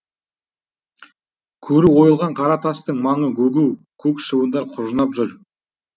көрі ойылған қара тастың маңы гу гу көк шыбындар құжынап жүр